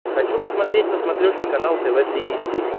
хочу посмотреть на смотрешке канал тв три эйч ди